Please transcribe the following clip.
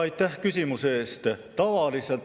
Aitäh küsimuse eest!